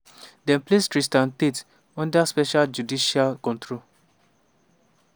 dem place tristan tate under special judicial control.